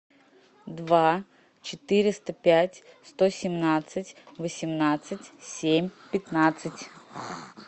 два четыреста пять сто семнадцать восемнадцать семь пятнадцать